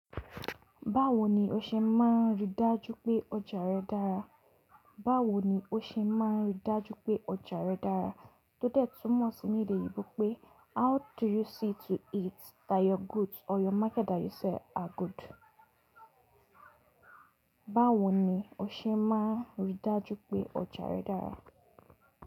Báwo ni o ṣe máa rí i dájú pé ọjà rẹ dára? Báwo ni o ṣe máa rí i dájú pé ọjà rẹ dára? Tótẹ̀ túmọ̀ sí ní èdè oyinbo pé: how do you see to it that your goods or your market that you sell are good? Báwo ni o ṣe máa rí i dájú pé ọjà rẹ dára?